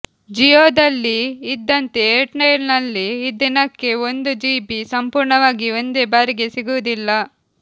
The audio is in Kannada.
ಜಿಯೋದಲ್ಲಿ ಇದ್ದಂತೆ ಏರ್ಟೆಲ್ನಲ್ಲಿ ದಿನಕ್ಕೆ ಒಂದು ಜಿಬಿ ಸಂಪೂರ್ಣವಾಗಿ ಒಂದೇ ಬಾರಿಗೆ ಸಿಗುವುದಿಲ್ಲ